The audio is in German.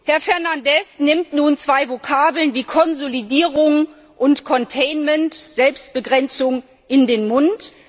Herr Fernandes nimmt nun zwei Vokabeln wie Konsolidierung und Containment Selbstbegrenzung in den Mund.